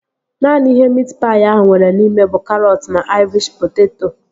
Naanị ihe miit paị ahụ nwere n'ime bụ karọt na aịrish poteto